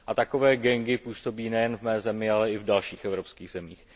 Takové gangy působí nejen v mé zemi, ale i v dalších evropských zemích.